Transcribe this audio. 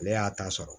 Ale y'a ta sɔrɔ